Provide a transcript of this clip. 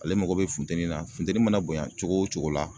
Ale mako bɛ funteni na, funteni mana bonya cogo o cogo la